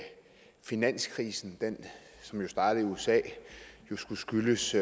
finanskrisen som jo startede i usa skulle skyldes